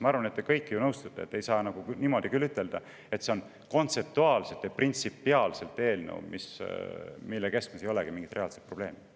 Ma arvan, et te kõik nõustute, et ei saa öelda, et kontseptuaalselt ja printsipiaalselt oleks tegemist eelnõuga, mille keskmes ei olegi mingit reaalset probleemi.